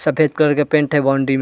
सफ़ेद कलर के पेंट है बाउंड्री में --